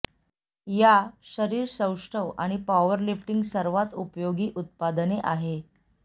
या शरीर सौष्ठव आणि पॉवरलिफ्टिंग सर्वात उपयोगी उत्पादने आहे